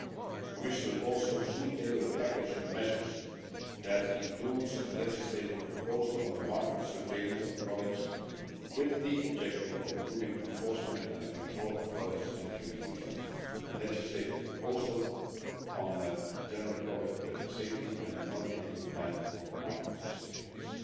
The Commission will also soon table a package of measures that includes a legislative proposal on the market surveillance of products with the objective of improving enforcement and the control of products entering the Union, a legislative proposal on general product safety and a multiannual plan on market surveillance.